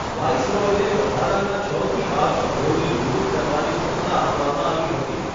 વાઈસરોયને વધારાના છથી બાર સભ્યોની નિમણૂક કરવાની સત્તા આપવામાં આવી હતી.